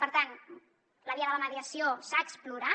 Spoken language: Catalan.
per tant la via de la mediació s’ha explorat